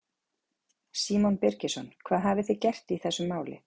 Símon Birgisson: Hvað hafið þið gert í þessum máli?